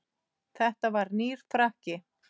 Þetta var nýr frakki.